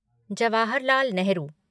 Jawaharlal Nehru